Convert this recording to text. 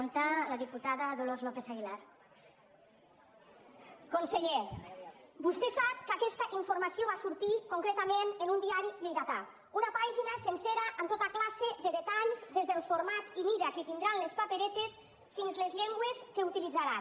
conseller vostè sap que aquesta informació va sortir concretament en un diari lleidatà una pàgina sencera amb tota classe de detalls des del format i mida que tindran les paperetes fins a les llengües que utilitzaran